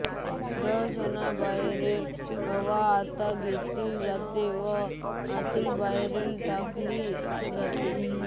श्वसनामध्ये बाहेरील हवा आत घेतली जाते व आतील बाहेर टाकली जाते